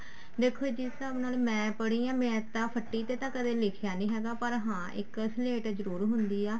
ਦੇਖੋ ਜਿਸ ਹਿਸਾਬ ਨਾਲ ਮੈਂ ਪੜ੍ਹੀ ਹਾਂ ਮੈਂ ਤਾਂ ਫੱਟੀ ਤੇ ਕਦੇ ਲਿਖਿਆ ਨੀ ਹੈਗਾ ਪਰ ਹਾਂ ਇੱਕ ਸਲੇਟ ਜਰੁਰ ਹੁੰਦੀ ਆ